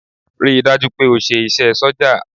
Rí i dájú o pé o ṣe iṣẹ́ sójà!